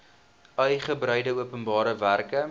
uigebreide openbare werke